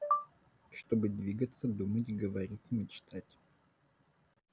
чтобы двигаться думать говорить мечтать